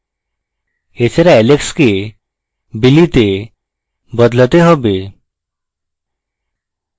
এছাড়া alex কে billy তে বদলাতে হবে